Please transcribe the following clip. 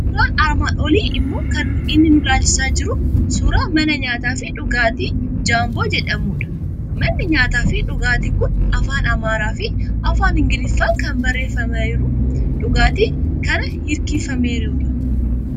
Suuraan armaan olii immoo kan inni nu ilaalchisaa jiru suuraa mana nyaataa fi dhugaatii Jaambooo jedhamudha. Manni nyaataa fi dhugaatii kun afaan Amaaraa fi Afaan Ingiliffaan kan barreeffameeru, dhagaatti kan hirkifameerudha.